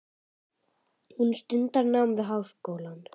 Hún stundar nám við háskólann.